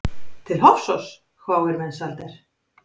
Til Hofsóss, hváir Mensalder.